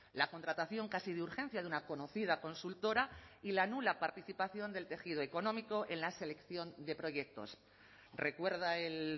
la contratación casi de urgencia de una conocida consultora y la nula participación del tejido económico en la selección de proyectos recuerda el